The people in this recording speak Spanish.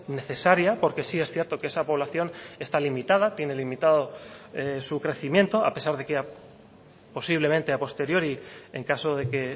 necesaria porque sí es cierto que esa población está limitada tiene limitado su crecimiento a pesar de que posiblemente a posteriori en caso de que